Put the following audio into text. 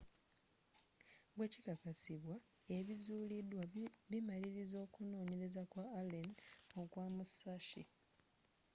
bwekikakasibwa ebizuulidwa bimaliriza okunoonyereza kwa allen okwa musashi